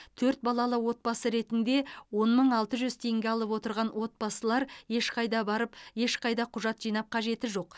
төрт балалы отбасы ретінде он мың алты жүз теңге алып отырған отбасылар ешқайда барып ешқайда құжат жинап қажет жоқ